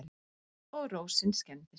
Og rósin skemmdist.